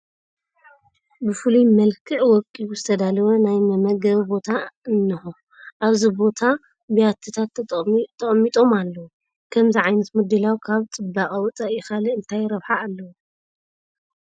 ብፍሉይ መልክዕ ወቂቡ ዝተዳለወ ናይ መመገቢ ቦታ እኒሆ፡፡ ኣብዚ ቦታ ብያቲታት ተቐሚጦም ኣለዉ፡፡ ከምዚ ዓይነት ምድላው ካብ ፅባቐ ወፃኢ ካልእ እንታይ ረብሓ ኣለዎ?